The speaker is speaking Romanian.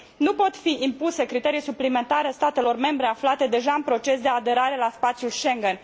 Nu pot fi impuse criterii suplimentare statelor membre aflate deja în procesul de aderare la spațiul Schengen.